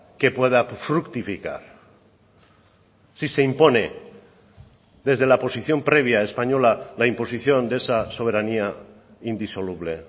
que pueda fructificar si se impone desde la posición previa española la imposición de esa soberanía indisoluble